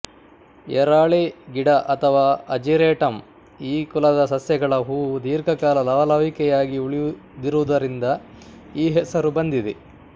ಎರಾಳೆ ಗಿಡ ಅಥವಾ ಅಜಿರೇಟಮ್ ಈ ಕುಲದ ಸಸ್ಯಗಳ ಹೂವು ದೀರ್ಘಕಾಲ ಲವಲವಿಕೆಯಾಗಿ ಉಳಿದಿರುವುದರಿಂದ ಈ ಹೆಸರು ಬಂದಿದೆ